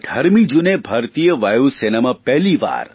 18 જૂને ભારતીય વાયુસેનામાં પહેલી વાર